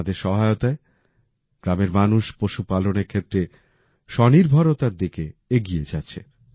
তাঁদের সহায়তায় গ্রামের মানুষ পশুপালনের ক্ষেত্রে স্বনির্ভরতার দিকে এগিয়ে যাচ্ছে